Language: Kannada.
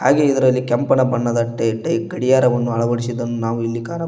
ಹಾಗೇ ಇದರಲ್ಲಿ ಕೆಂಪನೆ ಬಣ್ಣದ ಟೖ ಟೖ ಗಡಿಯಾರವನ್ನು ಅಳವಡಿಸಿದ್ದನ್ನು ನಾವು ಇಲ್ಲಿ ಕಾಣಬೋ--